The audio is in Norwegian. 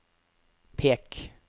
pek